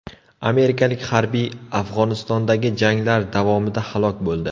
Amerikalik harbiy Afg‘onistondagi janglar davomida halok bo‘ldi.